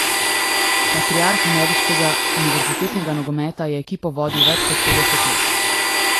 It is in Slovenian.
Patriarh ameriškega univerzitetnega nogometa je ekipo vodil več kot petdeset let.